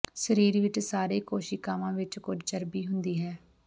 ਸਰੀਰ ਵਿੱਚ ਸਾਰੇ ਕੋਸ਼ੀਕਾਵਾਂ ਵਿੱਚ ਕੁਝ ਚਰਬੀ ਹੁੰਦੀ ਹੈ